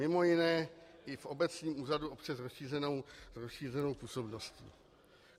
Mimo jiné i v obecním úřadu obce s rozšířenou působností.